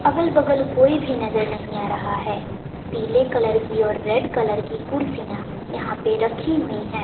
अगल बगल कोई भी नजर नहीं आ रहा है पीले कलर की और रेड कलर की कुर्सियां यहां पे रखी हुई हैं।